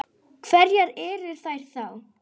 Hverjar eru þær þá?